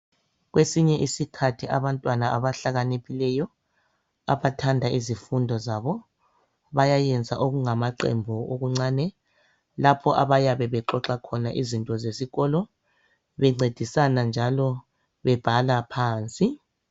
Kwesinye isikhathi abantwana abahlakaniphileyo. Abathanda izifundo zabo, bayayenza okungamaqembe okuncane lapho. Lapho abayabe bexoxa khona izinto zesikolo ,bencedisana njalo bebhala phansi.